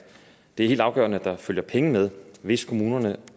det er helt afgørende at der følger penge med hvis kommunerne